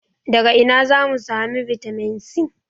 Daga ina za mu samu bitamin C?